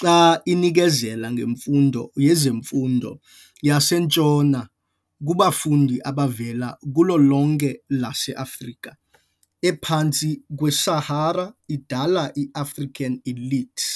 xa inikezela ngemfundo yezemfundo yaseNtshona kubafundi abavela kulo lonke elase-Afrika ephantsi kwe-Sahara, idala i-African elite.